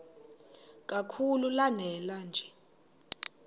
kakhulu lanela nje